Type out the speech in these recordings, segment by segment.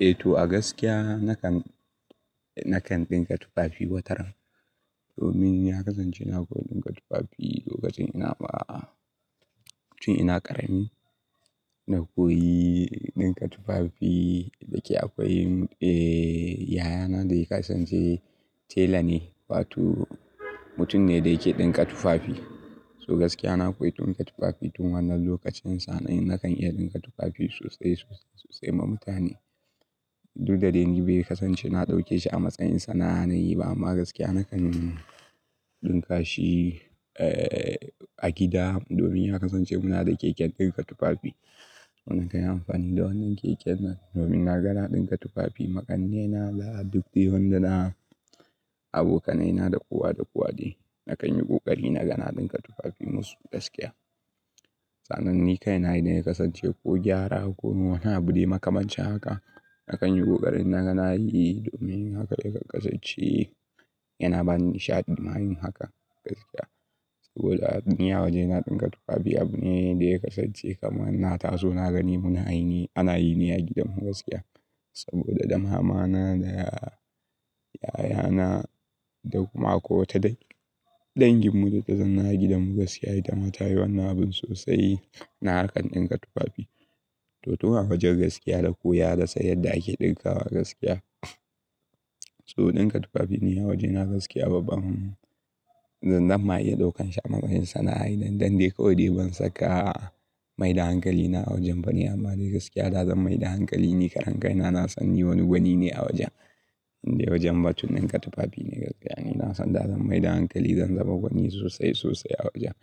Eh to gaskiya nakan, nakan ɗinka tufafi wataran. Domin ya kasance na koyi ɗinka tufafi lokacin ina, tun ina ƙarami na koyi ɗinka tufafi. Da ke akwai, eh, yayana da yake kasance tela ne, wato mutum ne da yake ɗinka tufafi. So gaskiya na koyi ɗinka tufafi tun wannan lokacin. Sanan nakan iya ɗinka tufafi sosai, sosai, sosai ma mutane. Duk da daini bai kasance na ɗauke shi a matsayin sana'a na yi ba, amma gaskiya nakan ɗinka shi, eh, a gida domin ya kasance muna da keken ɗinka tufafi. Muna kan yi amfani da wannan keken nan domin na ga na ɗinka tufafi ma ƙannena da duk dai wandana, abokanaina da kowa da kowa de. Nakan yi ƙoƙari na ga na ɗinka tufafi musu gaskiya. Sanan ni kai na yi da yake kasance ko gyara ko kuma wani abude makamancin haka. Nakan yi ƙoƙarin na ga na yi domin haka yake kasance yana bani nishadin ma yin haka gaskiya. Saboda ni a waje na ɗinka tufafi abu ne da yake kasance kamar na taso na gani muna yi ne, ana yi ne a gidanmu gaskiya. Saboda da mamana da ya-- yayana da kuma kowa ta dai. Dangin mu duka zanna a gidanmu gaskiya ita ma ta yi wannan abun sosai. Na harkan ɗinka tufafi. To, tun a wajen gaskiya dai ko ya nasan yadda ake ɗinka wa gaskiya. So ɗinka tufafi ni a waje na gaskiya babban zan zama iya ɗaukan shi a matsayin sana'a idan, idan dai kawai bai saka maida hankali na a wajen ba ne. Amma dai gaskiya da zan maida hankali ni, karen kai na, na sani wani gwani ne a wajen. Inda wajen ba tun ɗinka tufafi ne gaskiya. Ni na san da zan maida hankali zan zama gwani sosai, sosai a wajen.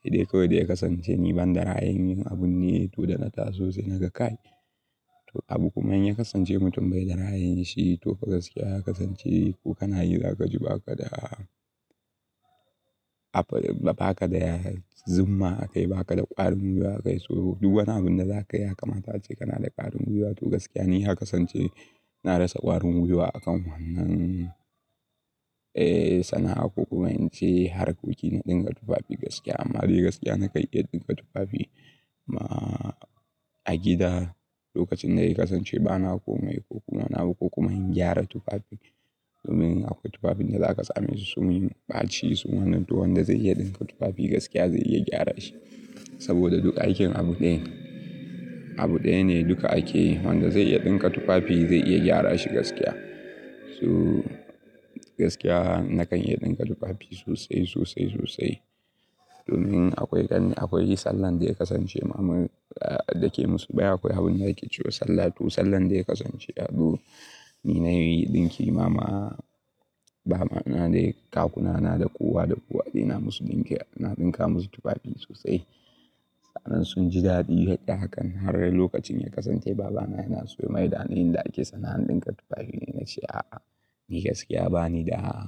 Sai dai kawai da ya kasance ni ban da ra ayin abun ne to da na taso sai naga kai. To abu kuma in ya kasance mutum bai da rai yin shi to gaskiya ya kasance ko kana yi za ka ji ba ka da, ba ka da zumma a kai, ba ka da ƙwarin gwaiwa a kai. So duk wani abun da za ka yi a kama ta ce kana da ƙwarin gwaiwa. To gaskiya ni ya kasance na rasa ƙwarin gwaiwa a kan wannan, eh, sana'a ko kuma in ce harkokin na ɗinka tufafi gaskiya. Amma dai gaskiya na kai iya ɗinka tufafi ma a gida lokacin da yake kasance ba na komai ko kuma na ba ko kuma in gyara tufafi. Domin akwai tufafin da za ka same su sun yi ɓaci sun wannan to wanda zai iya ɗinka tufafi gaskiya zai iya gyara shi. Saboda duka aikin abu ɗaya, abu ɗaya ne duka ake. Wanda zai iya ɗinka tufafi zai iya gyara shi gaskiya. So gaskiya nakan iya ɗinka tufafi sosai, sosai, sosai. Domin akwai, akwai sallah da yake kasance mamu, da ke musu. Bai akwai abun da yake cewa sallah. To sallar da yake kasance, ado, ni na yi ɗinki mama, mama na dai kakuna na da kowa da kowa ne na musu ɗinki, na ɗinka musu tufafi sosai. Sanan sun ji daɗi yadda hakan har lokacin ya kasance babana yana so ya maida ni inda ake sana'an ɗinka tufafi ne. Na ce a'a, ni gaskiya bani da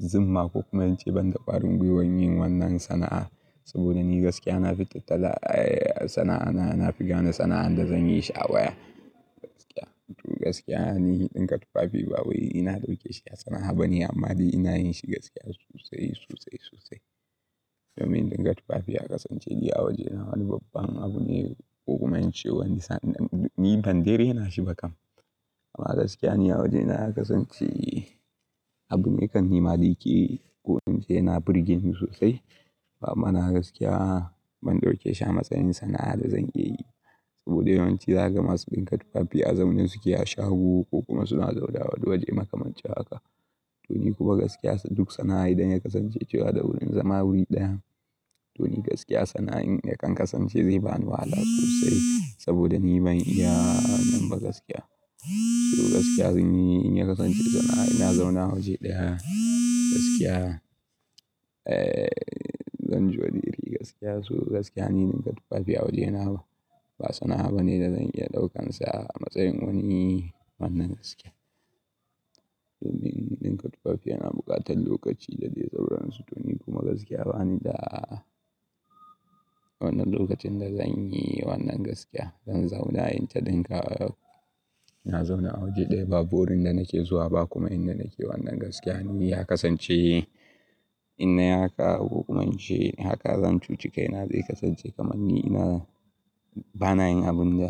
zumma ko kuma in ce ban da ƙwarin gwaiwa yin wannan sana'a. Saboda ni gaskiya na fita tala, eh, sana'a na, na fi gane sana'an da zan yi shi a baya gaskiya. To gaskiya ni ɗinka tufafi ba wai ina ɗauke shi sana'a ba ne amma dai ina yin shi gaskiya sosai, sosai, sosai. Domin ɗinka tufafi ya kasance ni a waje na wani babban abu ne ko kuma in ce wani sa-- ni ban dai raina shi ba kam. Amma gaskiya ni a waje na ya kasance abu ne kan nima dai yake ko in ce yana burgeni sosai. Babban na gaskiya ban ɗauke shi a matsayin sana'a da zan iya yi. Saboda yawanci za ka ga masu ɗinka tufafi a zaune suke a shago ko kuma suna zaune a wani waje makamancin haka. To ni kuma gaskiya duk sana'a idan ya kasance cewa da wurin zama wuri ɗaya. To ni gaskiya sana'an yakan kasance zai bani wahala sosai saboda ni ban iya wannan ba gaskiya. So gaskiya ni in ya kasance sana'a ina zauna waje ɗaya gaskiya. Eh, zan zo da iri gaskiya. So gaskiya ni ɗinka tufafi a waje na ba, ba sana'a bane da zan iya ɗaukan sa a matsayin wani, wannan gaskiya. Domin ɗinka tufafi yana buƙatar lokaci da zai sauran su. To ni kuma gaskiya bani da wannan lokacin da zan yi wannan gaskiya. Zan zauna yin ta ɗinka, na zauna a waje ɗaya ba wurin da nake zuwa ba kuma inda nake wannan gaskiya. Ni ya kasance in na yi haka ko kuma in ce haka zan cuci kai na dai kasance kamar ni ina, ba na yin abun da.